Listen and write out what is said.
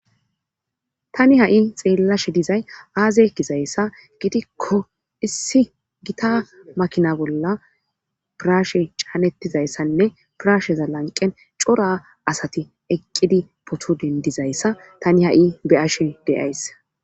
tani ha7i xeellashe dizay aaze gizayssa gidikko issi gita makina bolla piraashe caanettizayssanne piraashe zallanqen cora asati eqqidi poto dendizayssa tani ha7i beyashe deaysse